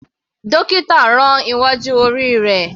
Dókítà rán iwájú orí rẹ̀.